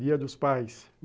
Dia dos pais.